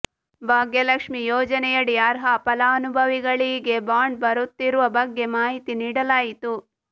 ಭಾಗ್ಯಲಕ್ಷ್ಮಿ ಯೋಜನೆಯಡಿ ಅರ್ಹ ಫಲಾನುಭವಿಗಳಿಗೆ ಬಾಂಡ್ ಬರುತ್ತಿರುವ ಬಗ್ಗೆ ಮಾಹಿತಿ ನೀಡಲಾಯಿತು